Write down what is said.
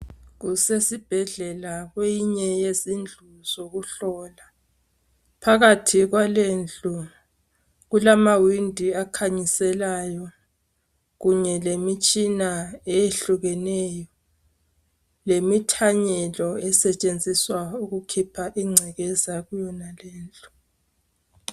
Kusesibhedlela kweyinye yezindlu zokuhlola. Phakathi kwalendlu kulamawindi akhanyiselayo kunye lemitshina eyehlukeneyo, lemithanyelo esetshenziswa ukukhipha ingcekeza kuyo.